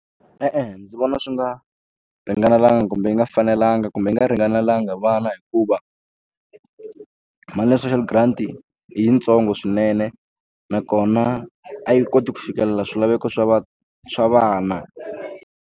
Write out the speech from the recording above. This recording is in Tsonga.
E-e ndzi vona swi nga ringanelangi kumbe yi nga fanelanga kumbe yi nga ringanelanga vana hikuva mali ya social grant i yintsongo swinene nakona a yi koti ku fikelela swilaveko swa va swa vana.